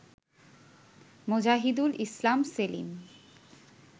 Mozahidul Islam Selim